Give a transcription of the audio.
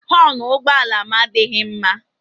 Họọnụ ụgbọala m adịghị mma.